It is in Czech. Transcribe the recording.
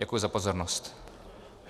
Děkuji za pozornost.